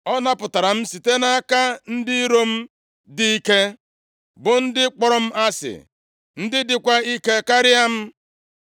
Ọ napụtara m site nʼaka ndị iro m dị ike, bụ ndị kpọrọ m asị, ndị dịkwa ike karịa m.